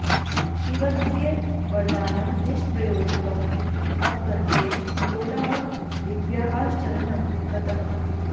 शिवस्य वरदानं निष्प्रयोजकम् इति अवगत्य हिङ्गोलः देव्याः शरणं गतः